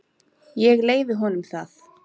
Ég leyfi honum það.